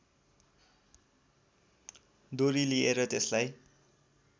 डोरी लिएर त्यसलाई